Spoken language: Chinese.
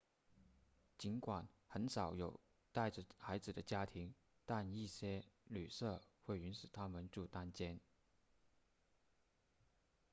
尽管很少有带着孩子的家庭但一些旅舍会允许他们住单间